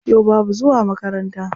Yau babu zuwa makaranta.